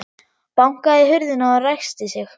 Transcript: Bankaði í hurðina og ræskti sig.